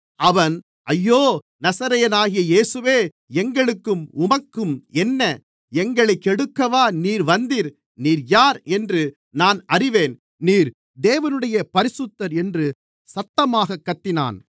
அவன் ஐயோ நசரேயனாகிய இயேசுவே எங்களுக்கும் உமக்கும் என்ன எங்களைக் கெடுக்கவா நீர் வந்தீர் நீர் யார் என்று நான் அறிவேன் நீர் தேவனுடைய பரிசுத்தர் என்று சத்தமாகக் கத்தினான்